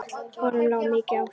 Honum lá mikið á hjarta.